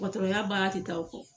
Dɔgɔtɔrɔya baara tɛ taa o kɔ.